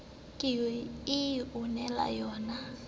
ke e o na le